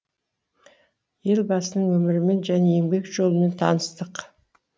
елбасының өмірімен және еңбек жолымен таныстық